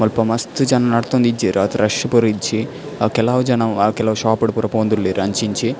ಮುಲ್ಪ ಮಸ್ತ್ ಜನ ನಡ್ತೊಂದು ಇಜ್ಜೆರ್ ಆತ್ ರಶ್ ಪೂರ ಇಜ್ಜಿ ಅ ಕೆಲವು ಜನ ಕೆಲವು ಶೋಪ್ ಡ್ ಪೂರ ಪೋವೊಂದುಲ್ಲೆರ್ ಅಂಚಿ ಇಂಚಿ.